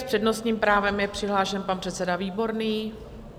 S přednostním právem je přihlášen pan předseda Výborný.